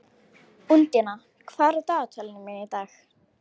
Úndína, hvað er á dagatalinu mínu í dag?